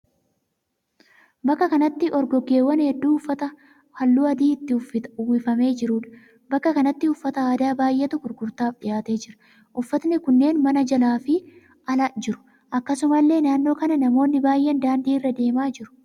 Bakka kanatti orgoggeewwan hedduu uffata halluu adii itti uwwifamee jiruudha. Bakka kanatti uffata aadaa baay'eetu gurgurtaaf dhiyaatee jira. Uffatni kunneen mana jalaa fi ala jiru. Akkasumallee naannoo kana namoonni baay'een daandii irra deemaa jiru.